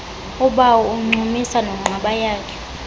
kubawo uncumisa nonqabayakhe